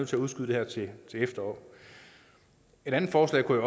til udskyde det til efteråret et andet forslag kunne